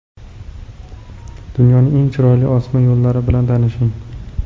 Dunyoning eng chiroyli osma yo‘llari bilan tanishing .